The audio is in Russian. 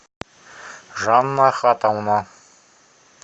жанна ахатовна